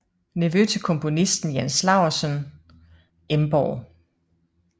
Nevø til komponisten Jens Laursøn Emborg